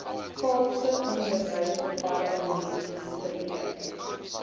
kaapse onderwysdepartement streef